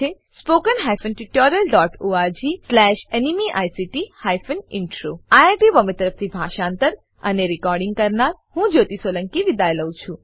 httpspoken tutorialorgNMEICT Intro IIT Bombay તરફથી હું જ્યોતી સોલંકી વિદાય લઉં છું